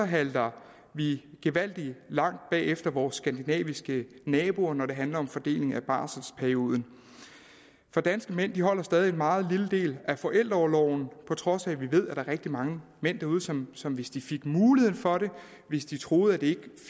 halter vi gevaldig langt bag efter vores skandinaviske naboer når det handler om fordeling af barselsperioden for danske mænd holder stadig en meget lille del af forældreorloven på trods af at vi ved at der er rigtig mange derude som som hvis de fik muligheden for det og hvis de troede at det ikke